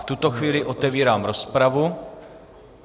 V tuto chvíli otevírám rozpravu.